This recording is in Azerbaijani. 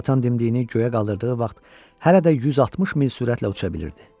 Conatan dimdiyini göyə qaldırdığı vaxt hələ də 160 mil sürətlə uça bilirdi.